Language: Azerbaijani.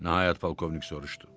Nəhayət polkovnik soruşdu.